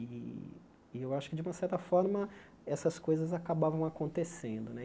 E e eu acho que, de uma certa forma, essas coisas acabavam acontecendo né e.